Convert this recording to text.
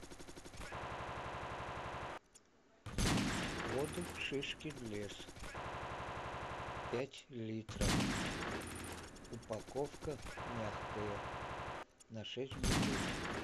воду шишкин лес пять литров упаковка мягкая на шесть бутылок